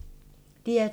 DR2